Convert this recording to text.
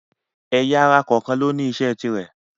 ẹ̀yà-ara kọ̀ọ̀kan ni ó ní isẹ́ tirẹ̀.